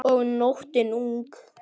Og nóttin ung.